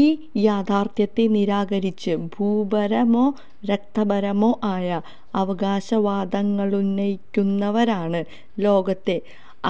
ഈ യാഥാര്ഥ്യത്തെ നിരാകരിച്ച് ഭൂപരമോ രക്തപരമോ ആയ അവകാശവാദങ്ങളുന്നയിക്കുന്നവരാണ് ലോകത്തെ